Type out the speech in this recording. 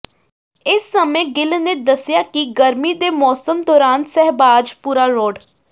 ਇਸ ਸਮੇਂ ਗਿੱਲ ਨੇ ਦੱਸਿਆ ਕਿ ਗਰਮੀ ਦੇ ਮੌਸਮ ਦੌਰਾਨ ਸਹਿਬਾਜ਼ਪੁਰਾ ਰੋਡ